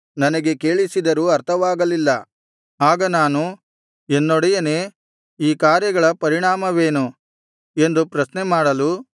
ನನಗೆ ಕೇಳಿಸಿದರೂ ಅರ್ಥವಾಗಲಿಲ್ಲ ಆಗ ನಾನು ಎನ್ನೊಡೆಯನೇ ಈ ಕಾರ್ಯಗಳ ಪರಿಣಾಮವೇನು ಎಂದು ಪ್ರಶ್ನೆ ಮಾಡಲು